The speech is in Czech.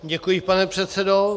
Děkuji, pane předsedo.